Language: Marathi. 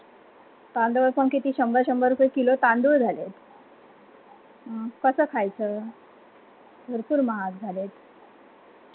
तांदळ पण किती शंभर शंभर रुपय किलो तांदूळ झाले कस खायचं भरपूर महाग झाले